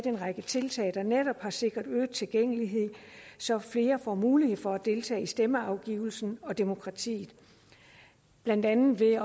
en række tiltag der netop har sikret øget tilgængelighed så flere får mulighed for at deltage i stemmeafgivelsen og demokratiet blandt andet ved